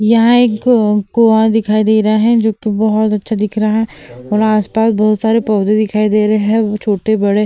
यहाँ एक कुआँ दिखाई दे रहा है जो कि बहुत अच्छा दिख रहा है और आस-पास बहुत सारे पौधे दिखाई दे रहे है छोटे-बड़े।